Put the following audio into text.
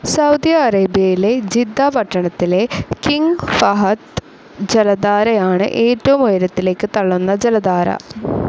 Saudi അറേബ്യയിലെ Jeddah പട്ടണത്തിലെ King Fahd ജലധാരയാണ് ഏറ്റവും ഉയരത്തിലേക്ക് തള്ളുന്ന ജലധാര.